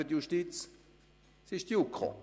– Das ist die JuKo.